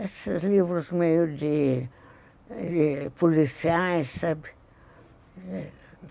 Esses livros meio de de policiais, sabe?